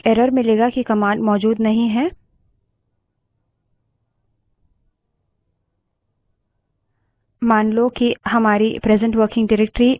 अब फिरसे यदि आप terminal से सीडीम्यूजिक लिखते हैं आपको एक error मिलेगा कि command मौजूद नहीं है